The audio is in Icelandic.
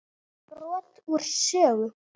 Brot úr sögu